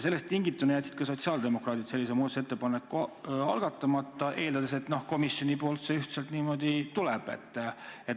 Sellest tingituna jätsid ka sotsiaaldemokraadid sellise muudatusettepaneku algatamata, eeldades, et komisjonist see ühtselt tuleb.